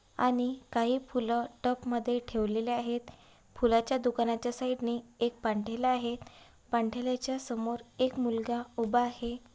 आणि काही फुलं टब मध्ये ठेवलेले आहेत. फुलाच्या दुकानाच्या साइड ने एक पान ठेला आहे. पान ठेलाच्या समोर एक मुलगा उभा आहे.